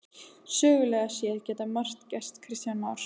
Sögulega séð getur margt gerst Kristján Már?